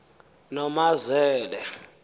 noomazele